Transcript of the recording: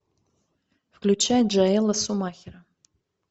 включай джоэла шумахера